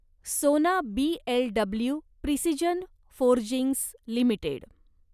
सोना BLW precision forgings limited